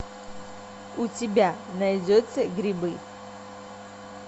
у тебя найдется грибы